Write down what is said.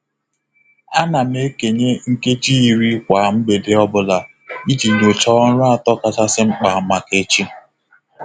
A na m ekenye nkeji iri kwa mgbede ọ bụla iji nyochaa ọrụ atọ kachasị mkpa maka echi.